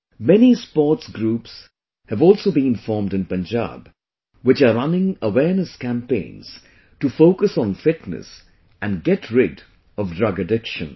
Many sports groups have also been formed in Punjab, which are running awareness campaigns to focus on fitness and get rid of drug addiction